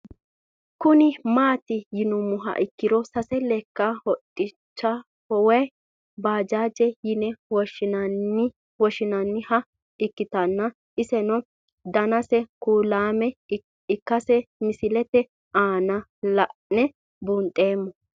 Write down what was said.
Kuni mati yinumoha ikiro sase leka hodhancho woyi bajajete yine woshinaniha ikitana isno danase kuulame ikase misilete aana la'ne bunxemo